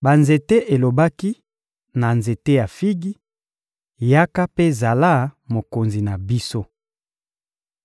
Banzete elobaki na nzete ya figi: ‹Yaka mpe zala mokonzi na biso.›